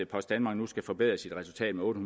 post danmark nu skal forbedre sit resultat med otte